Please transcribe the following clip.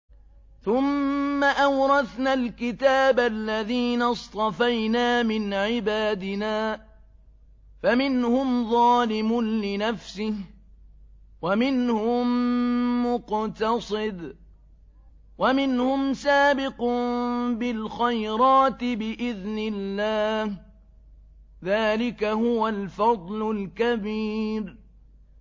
ثُمَّ أَوْرَثْنَا الْكِتَابَ الَّذِينَ اصْطَفَيْنَا مِنْ عِبَادِنَا ۖ فَمِنْهُمْ ظَالِمٌ لِّنَفْسِهِ وَمِنْهُم مُّقْتَصِدٌ وَمِنْهُمْ سَابِقٌ بِالْخَيْرَاتِ بِإِذْنِ اللَّهِ ۚ ذَٰلِكَ هُوَ الْفَضْلُ الْكَبِيرُ